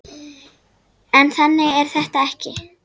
En þannig er þetta ekki.